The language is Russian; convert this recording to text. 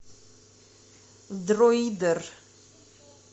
друидер